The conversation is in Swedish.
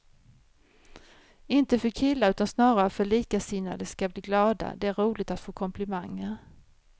Inte för killar utan snarare för att likasinnade ska bli glada, det är roligt att få komplimanger.